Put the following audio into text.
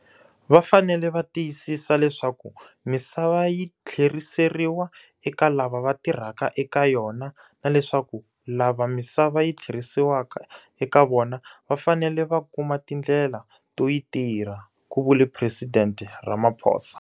Va fanele va tiyisisa leswaku misava yi tlheriseriwa eka lava va tirhaka eka yona na leswaku lava misava yi tlheriseriwa ka eka vona va fanele va kuma tindlela to yi tirha, ku vule Presidente Ramaphosa.